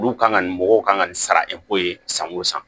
Olu kan ka nin mɔgɔw kan ka nin sara ye san o san